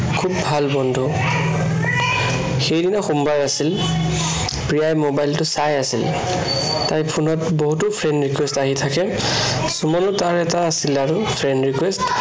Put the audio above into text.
খুব ভাল বন্ধু সেইদিন সোমবাৰ আছিল। প্ৰিয়াই mobile টো চাই আছিল। তাই phone ত বহুতো friend request আহি থাকে, সুমনো তাৰ এটা আছিল আৰু friend request